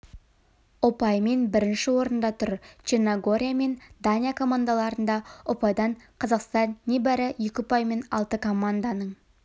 ұпаймен бірінші орында тұр черногория мен дания командаларында ұпайдан қазақстан небәрі екі ұпаймен алты команданың